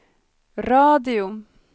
radio